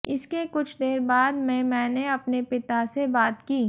इसके कुछ देर बाद में मैंने अपने पिता से बात की